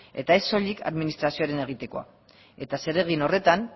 eta ez soilik administrazioaren egitea eta zeregin horretan